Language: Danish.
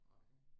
Okay